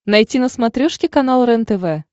найти на смотрешке канал рентв